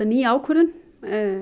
ný ákvörðun